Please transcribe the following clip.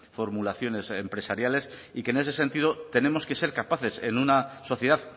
formulaciones empresariales y que en ese sentido tenemos que ser capaces en una sociedad